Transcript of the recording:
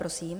Prosím.